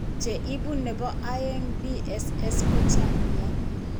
Che ibu ne po aeng' BSS ko chang' nia.